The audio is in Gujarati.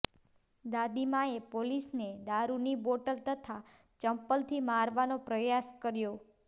દાદીમાએ પોલીસને દારૃની બોટલ તથા ચંપલથી મારવાનો પ્રયાસ કર્યો